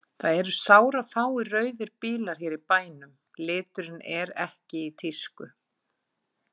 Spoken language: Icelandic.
Það eru sárafáir rauðir bílar hér í bænum, liturinn er ekki í tísku.